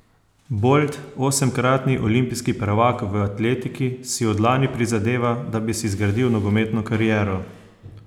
Bolt, osemkratni olimpijski prvak v atletiki, si od lani prizadeva, da bi si zgradil nogometno kariero.